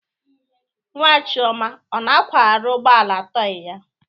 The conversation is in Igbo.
Nwa chioma ọ na-akwagharị ụgbọ ala tọị ya?